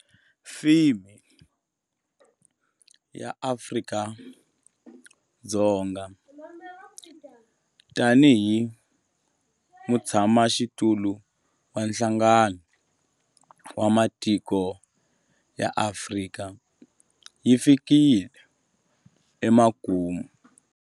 Theme ya Afrika-Dzonga tanihi mutshamaxitulu wa Nhlangano wa Matiko ya Afrika yi fikile emakumu.